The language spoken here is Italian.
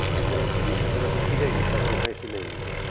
e della sfiducia e della diffidenza tra i Paesi membri.